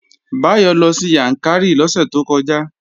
Báyọ̀ lọ sí Yàǹkàrí lọ́sẹ̀ tó kọjá